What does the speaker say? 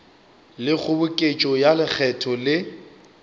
le kgoboketšo ya lekgetho le